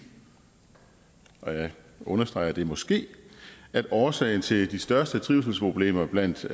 og jeg understreger at det er måske at årsagen til de største trivselsproblemer blandt